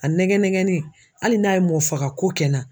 A nɛgɛn nɛgɛnni hali n'a ye mɔgɔ fagako kɛ n na